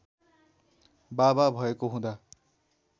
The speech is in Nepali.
बाबा भएको हुँदा